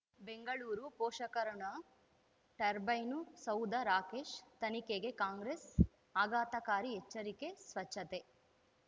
ಬೆಂಗಳೂರು ಪೋಷಕರಋಣ ಟರ್ಬೈನು ಸೌಧ ರಾಕೇಶ್ ತನಿಖೆಗೆ ಕಾಂಗ್ರೆಸ್ ಆಘಾತಕಾರಿ ಎಚ್ಚರಿಕೆ ಸ್ವಚ್ಛತೆ